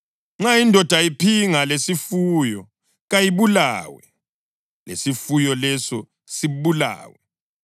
Nxa indoda iphinga lesifuyo, kayibulawe, lesifuyo leso sibulawe.